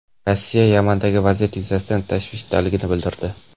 Rossiya Yamandagi vaziyat yuzasidan tashvishdaligini bildirdi.